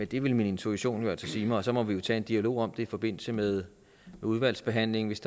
det ville min intuition altså sige mig og så må vi tage en dialog om i forbindelse med udvalgsbehandlingen hvis